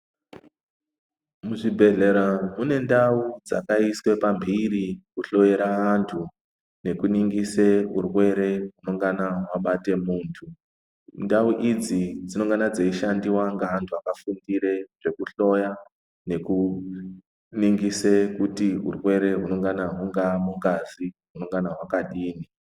Muzvibhehlera mune ndau dzakaiswe pamhiri kuhloiyera antu nekuningise urwere unongana wabate muntu ndau idzi dzinongana dzeishandiwa ngevantu vakafundire zvekuhloya nekuningise kuti urwere hunongana hunga mungazi hunongana hwakadini.